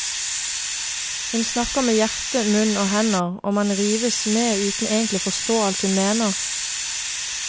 Hun snakker med hjerte, munn og hender, og man rives med uten egentlig å forstå alt hun mener.